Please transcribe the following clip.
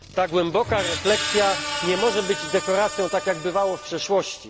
Ta głęboka refleksja nie może być dekoracją, tak jak bywało w przeszłości.